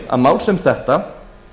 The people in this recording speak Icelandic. ef mál sem þetta